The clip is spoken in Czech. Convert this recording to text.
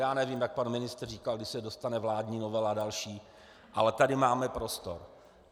Já nevím, jak pan ministr říkal, kdy se dostane vládní novela a další, ale tady máme prostor.